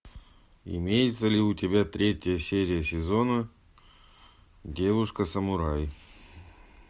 имеется ли у тебя третья серия сезона девушка самурай